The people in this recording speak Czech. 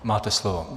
Máte slovo.